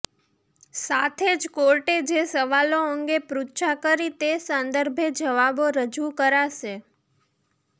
સાથે જ કોર્ટે જે સવાલો અંગે પૃચ્છા કરી તે સંદર્ભે જવાબો રજૂ કરાશે